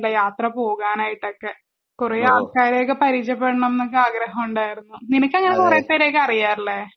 യാത്ര പോകാനായിട്ട് ഒക്കെ. കൊറേ ആൾക്കാരെ ഒക്കെ പരിചയപെടന്നൊക്കെ ആഗ്രഹം ഉണ്ടാർന്നു നിനക്ക് അങ്ങിനെ കൊറേ പേരെ ഒക്കെ അറിയാം അല്ലെ